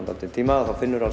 dálítinn tíma og þá finnurðu